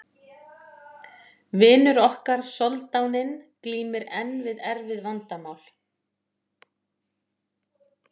vinur okkar soldáninn glímir enn við erfið vandamál